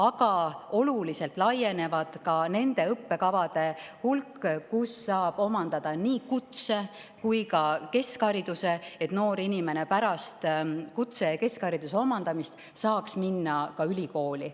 Aga oluliselt ka nende õppekavade hulk, kus saab omandada nii kutse‑ kui ka keskhariduse, et noor inimene pärast kutse‑ ja keskhariduse omandamist saaks minna ülikooli.